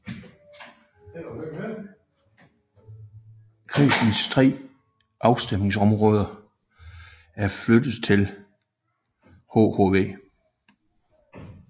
Kredsens tre afstemningsområder er flyttet til hhv